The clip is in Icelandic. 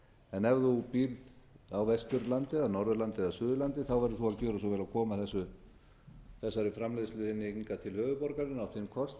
en ef þú ber á vesturlandi eða norðurlandi eða suðurlandi verður þú að gjöra svo vel og koma þessari framleiðslu þinni hingað til höfuðborgarinnar á þinn kostnað